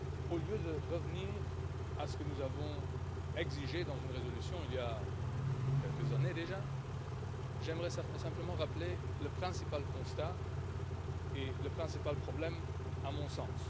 Au lieu de revenir à ce que nous avons exigé dans une résolution, il y a quelques années déjà, j'aimerais simplement rappeler le principal constat et le principal problème à mon sens.